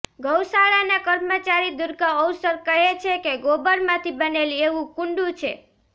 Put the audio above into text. ગૌશાળાના કર્મચારી દુર્ગા ઔસર કહે છે કે ગોબર માંથી બનેલી એવું કુંડુ છે